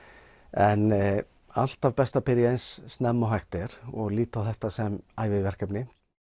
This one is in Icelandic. en alltaf best að byrja eins snemma og hægt er líta á þetta sem